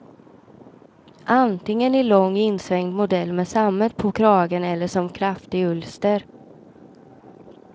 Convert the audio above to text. Antingen i lång insvängd modell med sammet på kragen eller som kraftig ulster.